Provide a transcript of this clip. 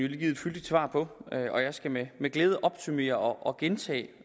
givet et fyldigt svar på og jeg skal med glæde opsummere og gentage